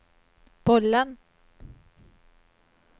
bollen